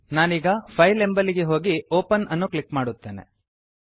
ನಾನೀಗ ಫೈಲ್ ಎಂಬಲ್ಲಿಗೆ ಹೋಗಿ ಒಪೆನ್ ಅನ್ನು ಕ್ಲಿಕ್ ಮಾಡುತ್ತೇನೆ